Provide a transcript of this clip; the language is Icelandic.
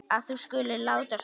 að þú skulir láta svona.